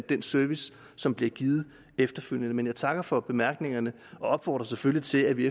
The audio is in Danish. den service som bliver givet efterfølgende men jeg takker for bemærkningerne og opfordrer selvfølgelig til at vi